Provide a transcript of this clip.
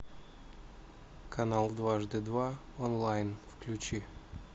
канал дважды два онлайн включи